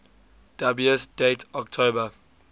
dubious date october